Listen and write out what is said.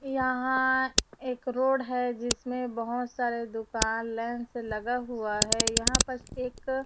यहां एक रोड है जिसमें बहोत सारे दुकान लाइंस लगा हुआ है यहां पर एक--